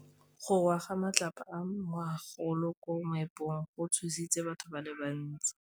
Go wa ga matlapa a magolo ko moepong go tshositse batho ba le bantsi.